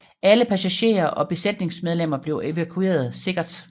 Alle passagerer og besætningsmedlemmer blev evakueret sikkert